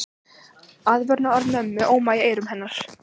Aðvörunarorð mömmu óma í eyrum hennar.